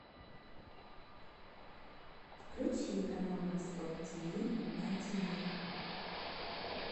включи канал восток тв на тв